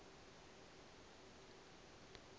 ḽa ik na iks la